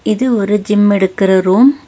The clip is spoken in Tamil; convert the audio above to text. இது ஒரு ஜிம் எடுக்குற ரூம் .